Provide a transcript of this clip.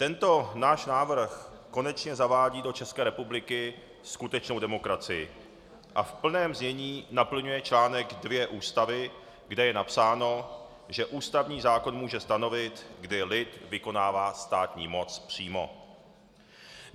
Tento náš návrh konečně zavádí do České republiky skutečnou demokracii a v plném znění naplňuje článek 2 Ústavy, kde je napsáno, že ústavní zákon může stanovit, kdy lid vykonává státní moc přímo.